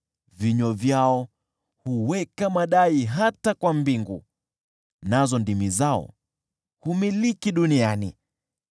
Vinywa vyao huweka madai hata kwa mbingu, nazo ndimi zao humiliki duniani.